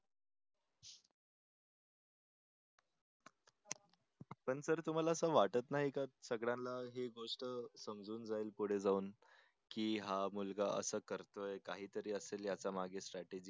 पण सर तुम्हाला असं वाटत नाही का सगळ्यांना हे गोष्ट समजून जाईल पुढे जाऊन की हा मुलगा असं करतोय. काहीतरी असेल याच्यामागे स्ट्रॅटेजी.